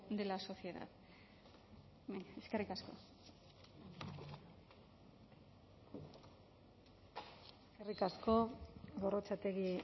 de la sociedad eskerrik asko eskerrik asko gorrotxategi